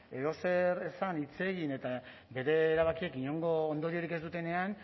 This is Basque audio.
edozer esan hitz egin eta bere erabakiak inongo ondoriorik ez dutenean